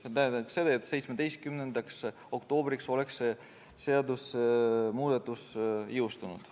See tähendab seda, et 17. oktoobriks oleks see seadusemuudatus jõustunud.